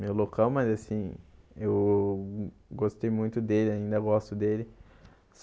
meu local, mas assim, eu gostei muito dele, ainda gosto dele.